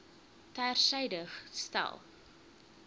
ter syde stel